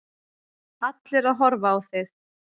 Allir að horfa á þig.